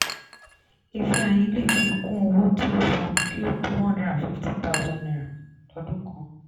ifeanyi le fi kún owó tí ó san kí o tó one hundred and fifty thousand naira lọ́dún kan.